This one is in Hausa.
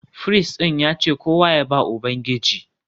Firist ɗin ya ce kowa ya ba Ubangiji